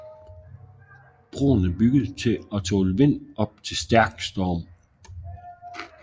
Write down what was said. Broen er bygget til at tåle vind op til stærk storm